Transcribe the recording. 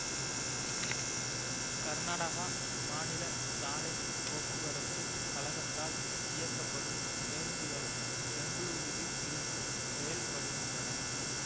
கர்நாடகா மாநில சாலை போக்குவரத்து கழகத்தால் இயக்கப்படும் பேருந்துகளும் பெங்களுரூவில் இருந்து செயல்படுகின்றன